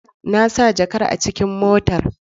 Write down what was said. Na sa jakar a cikin mota.